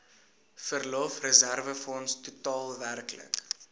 verlofreserwefonds totaal werklik